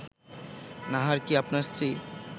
নাহার কি আপনার স্ত্রী